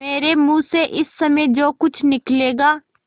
मेरे मुँह से इस समय जो कुछ निकलेगा